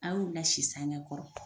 A y'u lasi sange kɔrɔ.